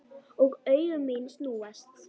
Og augu mín snúast.